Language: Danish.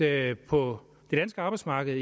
at på det danske arbejdsmarked